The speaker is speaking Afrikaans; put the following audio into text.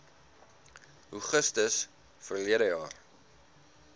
augustus verlede jaar